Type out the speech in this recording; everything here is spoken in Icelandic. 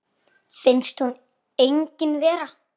Finnst hún engin vera.